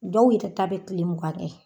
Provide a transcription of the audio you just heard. Dɔw yɛrɛ ta bɛ tile mugan kɛ.